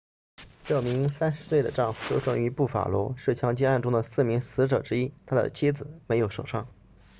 这名30岁的丈夫出生于布法罗是枪击案中的四名死者之一但他的妻子没有受伤